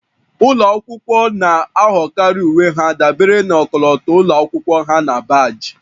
Ụlọ akwụkwọ na-ahọrọkarị uwe ha dabere na ọkọlọtọ ụlọ akwụkwọ ha na baajị